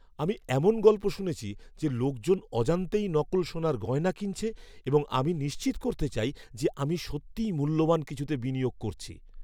আমি এমন গল্প শুনেছি যে লোকজন অজান্তেই নকল সোনার গয়না কিনছে এবং আমি নিশ্চিত করতে চাই যে আমি সত্যিই মূল্যবান কিছুতে বিনিয়োগ করছি।